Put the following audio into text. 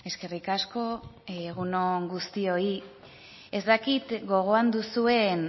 eskerrik asko egun on guztioi ez dakit gogoan duzuen